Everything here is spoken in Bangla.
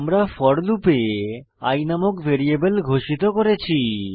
আমরা ফোর লুপে i নামক ভ্যারিয়েবল ঘোষিত করেছি